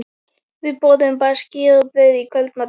Við borðuðum bara skyr og brauð í kvöldmatinn.